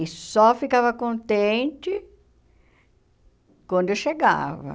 E só ficava contente quando eu chegava.